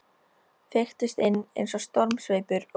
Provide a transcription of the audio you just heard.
Feyktust inn eins og stormsveipur, og